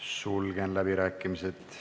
Sulgen läbirääkimised.